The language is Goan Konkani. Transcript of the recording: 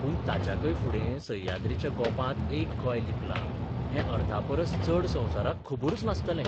पूण ताच्याकय फुडें सह्याद्रीच्या गोपांत एक गोंय लिपलां हैं अर्धापरस चड संवसाराक खबरूच नासतलें.